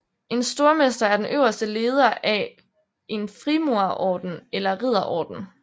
En stormester er den øverste leder af en frimurerorden eller ridderorden